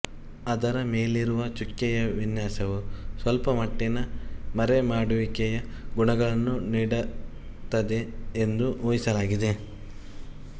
ಅದರ ಮೇಲಿರುವ ಚುಕ್ಕೆಯ ವಿನ್ಯಾಸವು ಸ್ವಲ್ಪಮಟ್ಟಿನ ಮರೆಮಾಡುವಿಕೆಯ ಗುಣಗಳನ್ನು ನೀಡುತ್ತದೆ ಎಂದು ಊಹಿಸಲಾಗಿದೆ